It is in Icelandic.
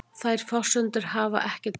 Þær forsendur hafi ekkert breyst